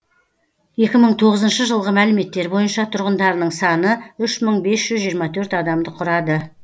екі мың тоғызыншы жылғы мәліметтер бойынша тұрғындарының саны үш мың бес жүз жиырма төрт адамды құрады